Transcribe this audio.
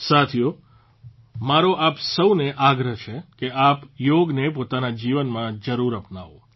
સાથીઓ મારો આપ સૌને આગ્રહ છે કે આપ યોગને પોતાના જીવનમાં જરૂર અપનાવો